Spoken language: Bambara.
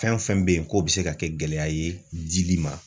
Fɛn fɛn be yen k'o be se ka kɛ gɛlɛya ye dili ma